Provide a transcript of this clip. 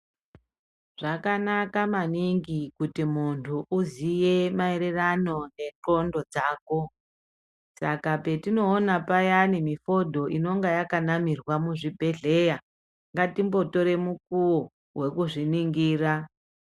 Zvakanaka maningi kuti muntu uziye mayererano ngendxondo dzako. Saka, petinowona payani fodo inonga yakanamirwa muzvibhedhleya ngatingotore mukuwo wekuzviningira.